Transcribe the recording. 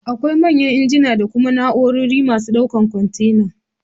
Akwai manyan injina da kuma na'urorin masu ɗaukan kwantena